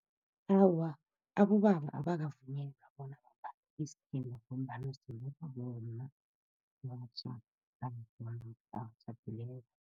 Awa, abobaba abakavunyelwa bona bambathe isithimba ngombana simbathwa bomma abatjhadileko